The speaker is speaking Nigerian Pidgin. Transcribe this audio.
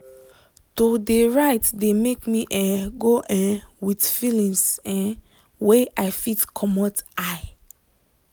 to de write de make me um go um with feelings um wey i fit commot eye.